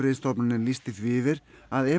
heilbrigðisstofnunin lýsti því yfir að